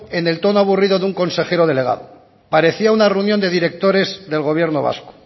en el tono aburrido de un consejero delegado parecía una reunión de directores del gobierno vasco